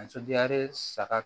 saga